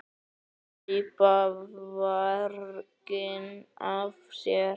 Hlaupa varginn af sér.